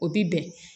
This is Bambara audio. O bi bɛn